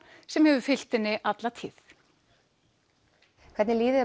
sem hefur fylgt henni alla tíð hvernig líður